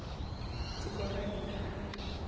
tiko ra hina a ri